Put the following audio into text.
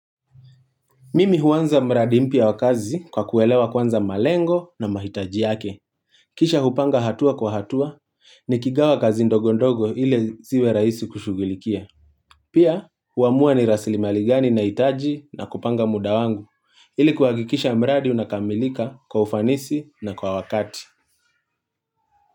Mimi huanza mradi mpya wa kazi kwa kuelewa kwanza malengo na mahitaji yake. Kisha hupanga hatua kwa hatua nikigawa kazi ndogo ndogo ile ziwe rahisi kushughulikia. Pia, huamua ni rasilimali gani nahitaji na kupanga muda wangu. Ili kuhakikisha mradi unakamilika kwa ufanisi na kwa wakati.